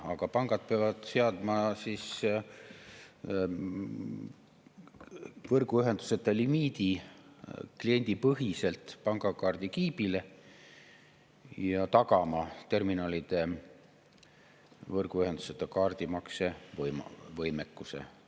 Aga pangad peavad seadma võrguühenduseta limiidi kliendipõhiselt pangakaardikiibile ja tagama terminalide võrguühenduseta kaardimakse võimekuse.